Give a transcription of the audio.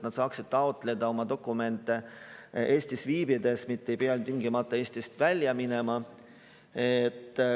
Nad saavad edaspidi taotleda oma dokumente Eestis viibides, mitte ei pea tingimata Eestist välja minema.